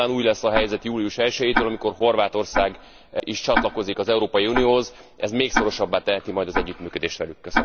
Nyilván új lesz a helyzet július elsejétől, amikor Horvátország is csatlakozik az Európai Unióhoz, ez még szorosabbá teheti majd az együttműködést velük.